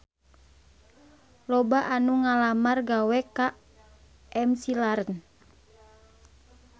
Loba anu ngalamar gawe ka McLaren